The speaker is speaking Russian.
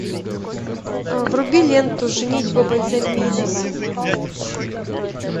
вруби ленту женитьба бальзаминова